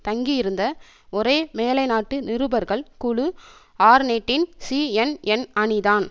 தங்கியிருந்த ஒரே மேலைநாட்டு நிருபர்கள் குழு ஆர்நெட்டின் சிஎன்என் அணிதான்